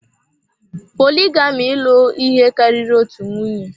Poligami ịlụ ihe karịrị otu nwunye.